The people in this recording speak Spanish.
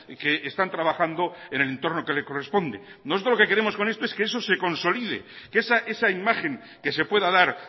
que están trabajando en el entorno que le corresponde nosotros lo que queremos con esto es que eso se consolide que esa imagen que se pueda dar